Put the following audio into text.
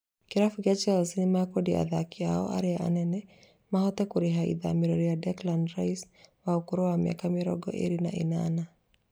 Kĩrabu kĩa Chelsea (the blues) nĩmekwendia athaki ao arĩa anene mahote kũrĩha ithamĩrio rĩa Declan Rise wa ũkũrũ wa mĩaka mĩrongo ĩrĩ na ĩnana